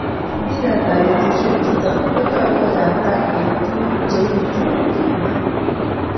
Mbiret ab betusiek chuto konyolu koyatak eng tuguk che u chu kimwa.